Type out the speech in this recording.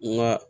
N ga